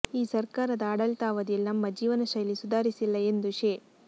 ಈ ಸರಕಾರದ ಆಡಳಿತಾವಧಿಯಲ್ಲಿ ನಮ್ಮ ಜೀವನ ಶೈಲಿ ಸುಧಾರಿಸಿಲ್ಲ ಎಂದು ಶೇ